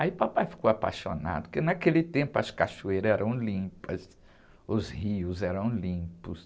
O papai ficou apaixonado, porque naquele tempo as cachoeiras eram limpas, os rios eram limpos.